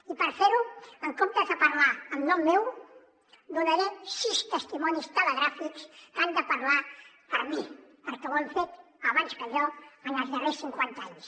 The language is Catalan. i per fer ho en comptes de parlar en nom meu donaré sis testimonis telegràfics que han de parlar per mi perquè ho han fet abans que jo en els darrers cinquanta anys